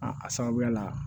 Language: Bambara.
A a sababuya la